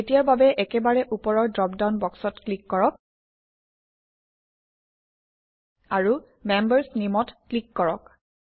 এতিয়াৰ বাবে একেবাৰে ওপৰৰ ড্ৰপডাউন বক্সত ক্লিক কৰক আৰু মেম্বাৰ্ছ Name অত ক্লিক কৰক